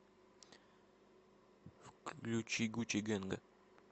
включи гуччи гэнга